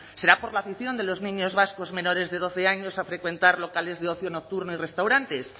será por la afición de los niños vascos menores de doce años a frecuentar locales de ocio nocturno y restaurantes